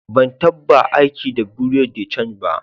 Ban tabba aiki da bureau de change ba.